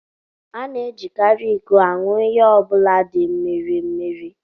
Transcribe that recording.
A na-ejikarị iko aṅụ ihe ọ bụla di mmiri mmiri